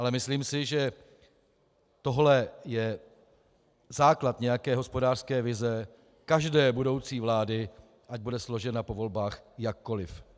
Ale myslím si, že tohle je základ nějaké hospodářské vize každé budoucí vlády, ať bude složena po volbách jakkoliv.